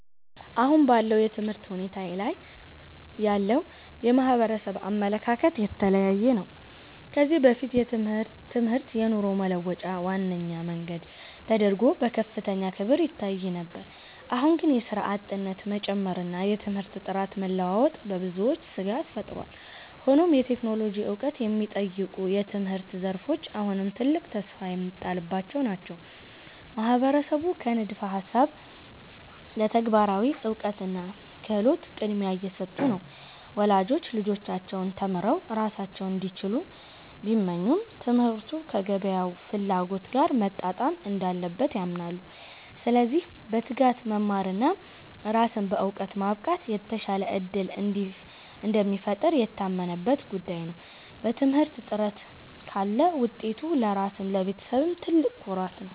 አሁን ባለው የትምህርት ሁኔታ ላይ ያለው የማህበረሰብ አመለካከት የተለያየ ነው። ከዚህ በፊት ትምህርት የኑሮ መለወጫ ዋነኛ መንገድ ተደርጎ በከፍተኛ ክብር ይታይ ነበር። አሁን ግን የሥራ አጥነት መጨመርና የትምህርት ጥራት መለዋወጥ በብዙዎች ስጋት ፈጥሯል። ሆኖም የቴክኖሎጂ ዕውቀት የሚጠይቁ የትምህርት ዘርፎች አሁንም ትልቅ ተስፋ የሚጣልባቸው ናቸው። ማህበረሰቡ ከንድፈ ሃሳብ ለተግባራዊ እውቀትና ክህሎት ቅድሚያ እየሰጡ ነው። ወላጆች ልጆቻቸው ተምረው ራሳቸውን እንዲችሉ ቢመኙም፣ ትምህርቱ ከገበያው ፍላጎት ጋር መጣጣም እንዳለበት ያምናሉ። ስለዚህ በትጋት መማርና ራስን በዕውቀት ማብቃት የተሻለ ዕድል እንደሚፈጥር የታመነበት ጉዳይ ነው። በትምህርት ጥረት ካለ ውጤቱ ለራስም ለቤተሰብም ትልቅ ኩራት ነው።